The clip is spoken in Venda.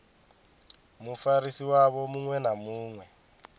mufarisi wavho muṅwe na muṅwe